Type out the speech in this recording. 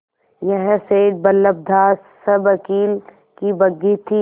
यह सेठ बल्लभदास सवकील की बग्घी थी